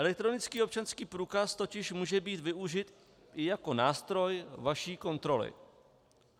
Elektronický občanský průkaz totiž může být využit i jako nástroj vaší kontroly.